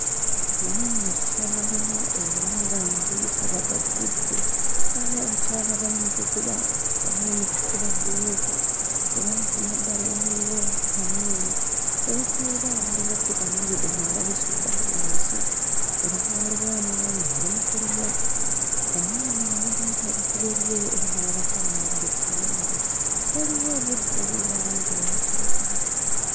Lino nno ssomero era ng'amadirisa bagaggudde. Waliwo abakyala abali mu kukuba abali mu kukuba bbulooka era nga ku mabbali waliwo ttanuulu. We bakolera waliwo ppipa n'ebidomola babisudde awo wansi era nga waliwo omwami ali mu kulima. Omwami ono alaga nti ali ku bibye era nga n'abakyala nabo bali ku byabwe. Waliwo obuddo obulina langi eya kiragala.